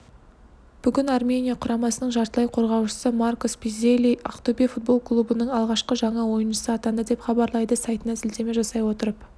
бүгін армения құрамасының жартылай қорғаушысы маркос пиззелли ақтөбе футбол клубының алғашқы жаңа ойыншысы атанды деп хабарлайды сайтына сілтеме жасай отырып